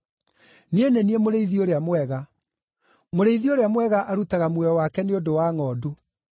“Niĩ nĩ niĩ mũrĩithi ũrĩa mwega. Mũrĩithi ũrĩa mwega arutaga muoyo wake nĩ ũndũ wa ngʼondu.